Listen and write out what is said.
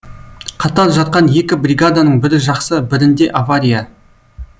қатар жатқан екі бригаданың бірі жақсы бірінде авария